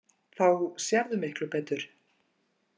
Þá sérðu miklu betur.